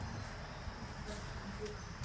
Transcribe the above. Farðu í ævintýraferð í huganum.